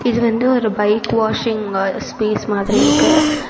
இது வந்து ஒரு பைக் வாஷிங் அ ஸ்பேஸ் மாதிரி இருக்கு.